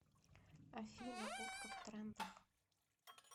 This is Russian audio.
афина утка в трендах